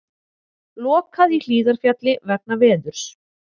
Lokað í Hlíðarfjalli vegna veðurs